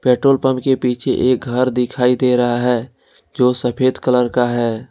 Petrol pump के पीछे एक घर दिखाई दे रहा है जो सफेद कलर का है।